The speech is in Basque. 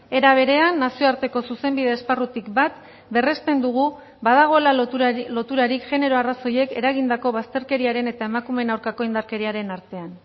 era berean nazioarteko zuzenbide esparrutik bat berresten dugu badagoela loturarik genero arrazoiek eragindako bazterkeriaren eta emakumeen aurkako indarkeriaren artean